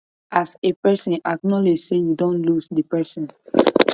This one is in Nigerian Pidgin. as a person acknowledge sey you don lose di person